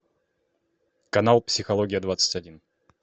канал психология двадцать один